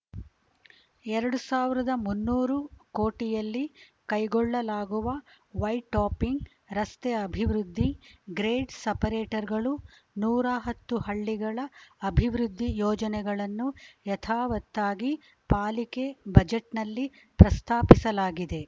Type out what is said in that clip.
ಎರಡ್ ಸಾವಿರದ ಮುನ್ನೂರು ಕೋಟಿಯಲ್ಲಿ ಕೈಗೊಳ್ಳಲಾಗುವ ವೈಟ್‌ಟಾಪಿಂಗ್‌ ರಸ್ತೆ ಅಭಿವೃದ್ಧಿ ಗ್ರೇಡ್‌ ಸಪರೇಟರ್‌ಗಳು ನೂರ ಹತ್ತು ಹಳ್ಳಿಗಳ ಅಭಿವೃದ್ಧಿ ಯೋಜನೆಗಳನ್ನು ಯಥಾವತ್ತಾಗಿ ಪಾಲಿಕೆ ಬಜೆಟ್‌ನಲ್ಲಿ ಪ್ರಸ್ತಾಪಿಸಲಾಗಿದೆ